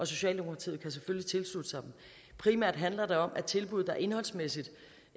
socialdemokratiet selvfølgelig tilslutte sig primært handler det om at tilbud der indholdsmæssigt